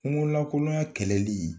Kungo lankoloya kɛlɛli